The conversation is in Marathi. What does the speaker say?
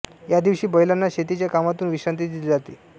या दिवशी बैलांना शेतीच्या कामातून विश्रांती दिली जाते